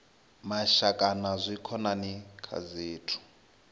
mashaka na dzikhonani kha zwithu